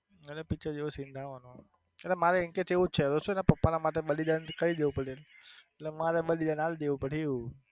એના picture જેવો seen થવાનો એટલે મારો intense એવો જ છે એના પપ્પા ના માટે બલિદાન કરી દેવું પડિયું એટલે મારે બલિદાન આલી દેવું પડિયું.